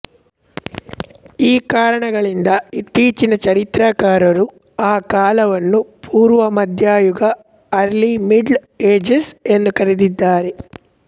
ಈ ಕಾರಣಗಳಿಂದ ಇತ್ತೀಚಿನ ಚರಿತ್ರಕಾರರು ಆ ಕಾಲವನ್ನು ಪೂರ್ವಮಧ್ಯಯುಗ ಅರ್ಲಿ ಮಿಡ್ಲ್ ಏಜಸ್ ಎಂದು ಕರೆದಿದ್ದಾರೆ